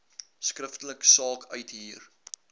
skriftelik saak uithuur